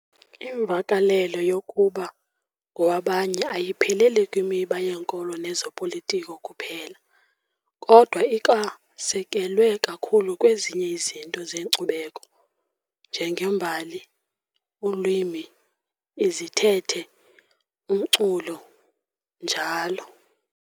Imvakalelo yokuba ngowabanye ayipheleli kwimiba yenkolo nezopolitiko kuphela, kodwa ikwasekelwe kakhulu kwezinye izinto zenkcubeko, njengembali, ulwimi, izithethe, umculo, njl.